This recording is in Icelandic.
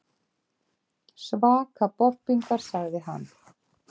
Svaka bobbingar, sagði hann.